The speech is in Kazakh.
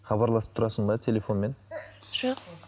хабарласып тұрасың ба телефонмен жоқ